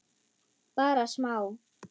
Bara smá.